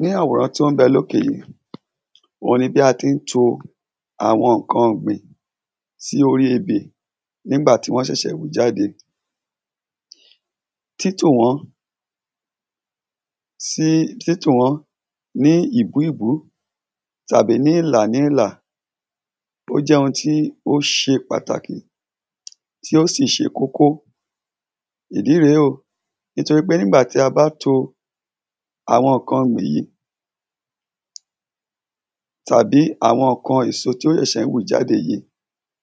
ní àwòrán tí ón bẹ lókè yí, òun ni bí an tí n to àwọn ńkan ọ̀gbìn sí orí ebè, nígbàtí wọ́n sèsè wù jáde, tí tò wọ́n sí, tí tò wọ́n ní ìbúìbú tàbí ní ìlà ní ìlà, ó jẹ́ oun tí ó se pàtàkì tí ó sì se kókó, ìdí rèé o, nítorí pé nígbàtí a bá to àwon ǹkan wọ̀nyí, tàbí àwọn ńkan èso, tí ón sẹ̀sẹ̀ ní wù jáde yìí,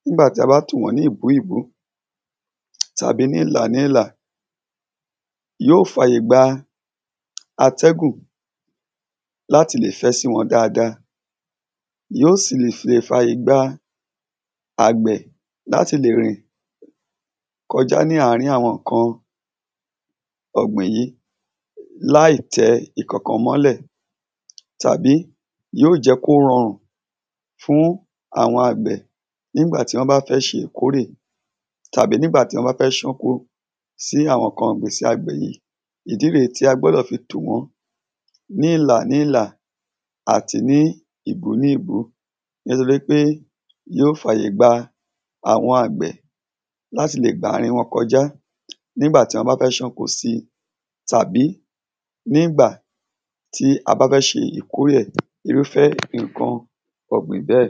nígbà ta bá tò wọ́n ní ìbúìbú tàbí ní ìlà ní ìlà, yó fa ìgba àtẹ́gùn láti lè fẹ́ sí wọn dáada, yó sì le fa ìgba àgbẹ̀ láti lè rìn kọjá láàrin àwọn ǹkan ọ̀gbìn yí, láì tẹ ǹkankan mọ́lẹ̀ tàbí yó jẹ́ kó rọrùn fún àwọn àgbẹ̀ nígbàtí wọ́n bá fẹ́ se ìkórè, tàbí nígbàtí wọ́n fẹ́ ṣánko, si àwọn ǹkan igbese àgbẹ̀ yí, ìdí r èé tí a gbọdọ̀ fi tò wọ́n ní ilà nílà àti ní ìbú ní ìbú nítorí wípé yó fàyègba àwọn àgbẹ̀ láti lè gba ààrin wọn kọjá nígbà tí wọ́n bá fẹ́ ṣánko si tàbí nígbà tí a bá fẹ́ se ìkórèe ẹ̀, irúfẹ́ ǹkan ọgbin bẹ́ẹ̀.